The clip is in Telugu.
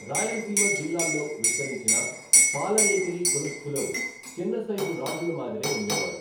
రాయలసీమ జిల్లాల్లో విస్తరించిన పాలఏకిరి కులస్థులు చిన్నసైజు రాజుల మాదిరే ఉండేవారు.